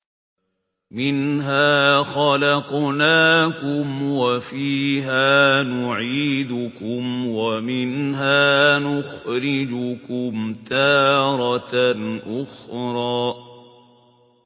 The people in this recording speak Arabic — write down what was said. ۞ مِنْهَا خَلَقْنَاكُمْ وَفِيهَا نُعِيدُكُمْ وَمِنْهَا نُخْرِجُكُمْ تَارَةً أُخْرَىٰ